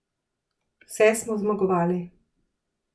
Vse smo zmagovali.